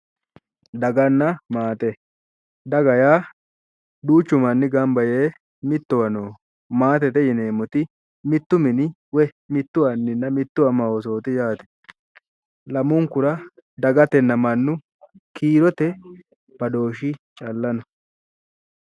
Daganna maate,, daga yaa duuchu manni gamba yee mittowa nooho, maatete yineemmoti mittu mini woy mittu anninna mittu ama Oosooti yaate, lamunkura dagatenna mannu kiirote badooshshi calla no.